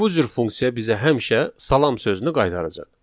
Bu cür funksiya bizə həmişə salam sözünü qaytaracaq.